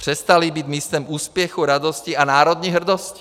Přestaly být místem úspěchu, radosti a národní hrdosti.